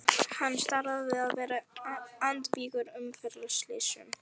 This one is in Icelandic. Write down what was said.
Hann starfar við að vera andvígur umferðarslysum.